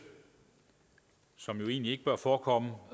som jo egentlig ikke bør forekomme